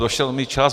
Došel mi čas.